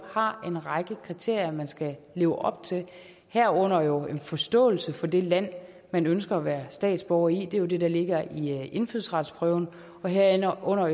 har en række kriterier man skal leve op til herunder herunder en forståelse for det land man ønsker at være statsborger i det er det der ligger i indfødsretsprøven og herunder